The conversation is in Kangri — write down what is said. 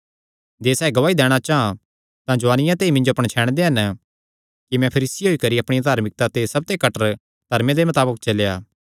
जे सैह़ गवाही दैणा चां तां जुआनिया ते ई मिन्जो पणछैणदे हन कि मैं फरीसी होई करी अपणिया धार्मिकता दे सबते कट्टर धर्मे दे मताबक चलेया